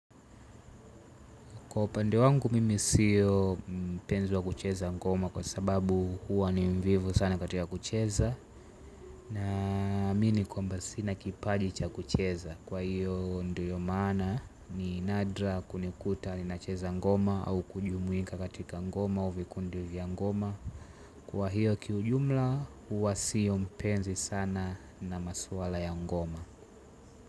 Kwa upande wangu mimi sio mpenzi wa kucheza ngoma kwa sababu huwa ni mvivu sana katika kucheza, naamini kwamba sina kipaji cha kucheza. Kwa hiyo ndiyo maana ni nadra kunikuta ninacheza ngoma au kujumuika katika ngoma au vikundi vya ngoma. Kwa hiyo kiujumla huwa sio mpenzi sana na maswala ya ngoma.